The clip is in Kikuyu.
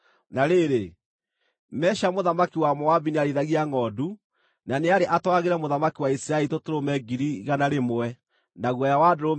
Na rĩrĩ, Mesha mũthamaki wa Moabi nĩarĩithagia ngʼondu na nĩarĩ atwaragĩre mũthamaki wa Isiraeli tũtũrũme 100,000 na guoya wa ndũrũme 100,000.